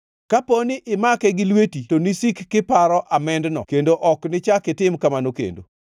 Kapo ni imake gi lweti to nisik kiparo amendno kendo ok nichak itim kamano kendo!